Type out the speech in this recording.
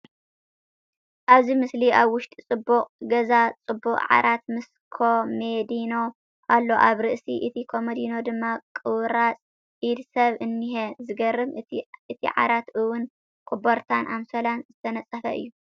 ኣብዚ ምስሊ ኣብ ዉሽጢ ጽቡቅ ገዛ ጽቡቅ ዓራት ምስ ኮመዲኖ ኣሎ ኣብ ርእሲ እቲ ኮመዲኖ ድማ ቁራጽ ኢድ ሰብ እኒሀ ዝገርም እዩ እቲ ዓራት እውን ኮቦርታን ኣንሶላን ዝተነጸፈ እዩ